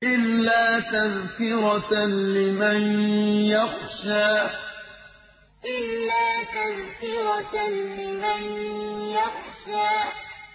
إِلَّا تَذْكِرَةً لِّمَن يَخْشَىٰ إِلَّا تَذْكِرَةً لِّمَن يَخْشَىٰ